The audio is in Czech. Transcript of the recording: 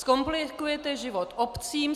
Zkomplikujete život obcím.